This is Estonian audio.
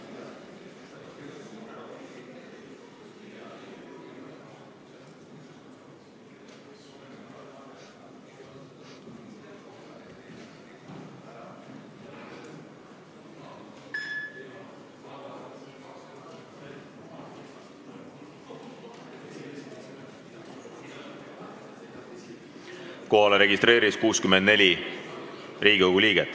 Kohaloleku kontroll Kohalolijaks registreerus 64 Riigikogu liiget.